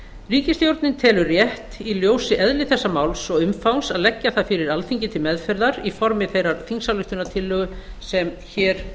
ríkisstjórnin telur rétt í ljósi eðlis þessa máls og umfangs að leggja það fyrir alþingi til meðferðar í formi þeirrar þingsályktunartillögu sem hér